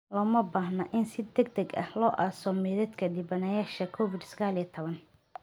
Looma baahna in si degdeg ah loo aaso maydadka dhibanayaasha Covid-19, ayay WHO raacisay.